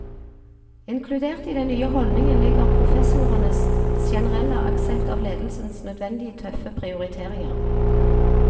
Inkludert i den nye holdningen ligger professorenes generelle aksept av ledelsens nødvendige tøffe prioriteringer.